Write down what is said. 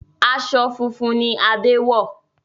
Aṣọ funfun ni Adé wọ̀